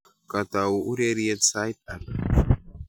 Katau ureriet sait ata?